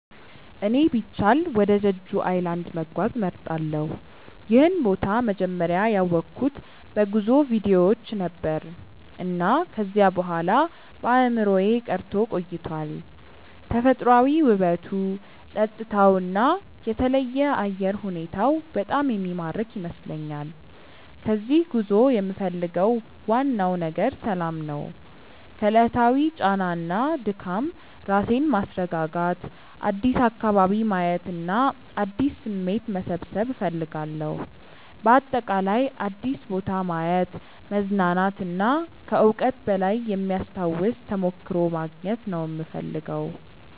እኔ ቢቻል ወደ ጀጁ ኣይላንድ(Jeju Island) መጓዝ እመርጣለሁ። ይህን ቦታ መጀመሪያ ያወቅሁት በጉዞ ቪዲዮዎች ነበር፣ እና ከዚያ በኋላ በአእምሮዬ ቀርቶ ቆይቷል። ተፈጥሯዊ ውበቱ፣ ጸጥታው እና የተለየ አየር ሁኔታው በጣም የሚማርክ ይመስለኛል። ከዚህ ጉዞ የምፈልገው ዋናው ነገር ሰላም ነው። ከዕለታዊ ጫና እና ድካም ራሴን ማስረጋጋት፣ አዲስ አካባቢ ማየት እና አዲስ ስሜት መሰብሰብ እፈልጋለሁ። በአጠቃላይ አዲስ ቦታ ማየት፣ መዝናናት እና ከዕውቀት በላይ የሚያስታውስ ተሞክሮ ማግኘት ነው የምፈልገው።